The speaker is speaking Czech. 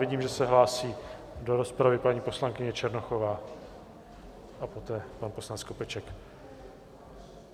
Vidím, že se hlásí do rozpravy paní poslankyně Černochová a poté pan poslanec Skopeček.